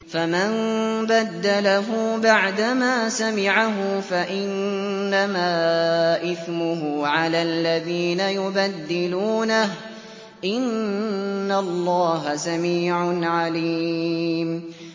فَمَن بَدَّلَهُ بَعْدَمَا سَمِعَهُ فَإِنَّمَا إِثْمُهُ عَلَى الَّذِينَ يُبَدِّلُونَهُ ۚ إِنَّ اللَّهَ سَمِيعٌ عَلِيمٌ